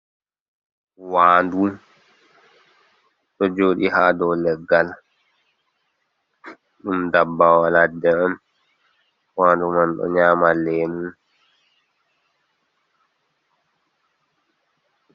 Waɗu ɗo joɗi ha ɗow leggal ,ɗum ɗaɓɓawa laɗɗe on, waɗu man ɗo nyama lemu.